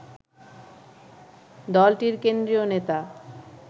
দলটির কেন্দ্রীয় নেতা